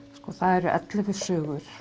það eru ellefu sögur